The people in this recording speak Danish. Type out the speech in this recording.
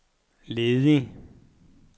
ledig